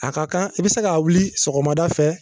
A ka kan i be se k'a wuli sɔgɔmada fɛ